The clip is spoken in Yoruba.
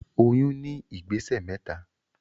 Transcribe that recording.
Oyún ní ìgbésẹ̀ mẹ́ta